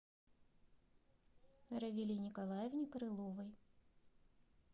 равиле николаевне крыловой